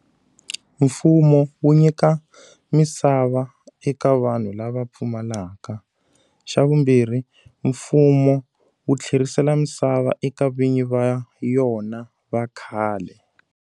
Mfumo wu nyika misava eka vanhu lava pfumalaka. Xa vumbirhi, mfumo wu tlherisela misava eka vinyi va yona va khale.